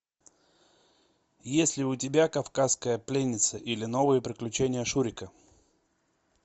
есть ли у тебя кавказская пленница или новые приключения шурика